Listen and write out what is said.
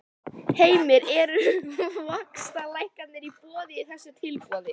Heimir: Eru vaxtalækkanir í boði í þessu tilboði?